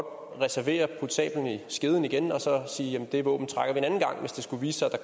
og så kan sablen i skeden igen og sige at det våben trækker man en anden gang hvis det skulle vise sig at der